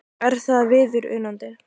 Er það viðunandi?